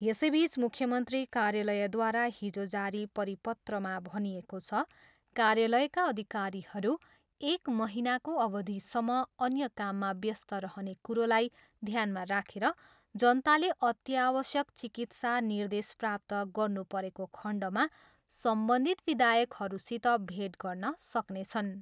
यसैबिच मुख्य मन्त्री कार्यालयद्वारा हिजो जारी परिपत्रमा भनिएको छ, कार्यालयका अधिकारीहरू एक महिनाको अवधिसम्म अन्य काममा व्यस्त रहने कुरोलाई ध्यानमा राखेर जनताले अत्यावश्यक चिकित्सा निर्देश प्राप्त गर्नु परेको खण्डमा सम्बन्धित विधायकहरूसित भेट गर्न सक्नेछन्।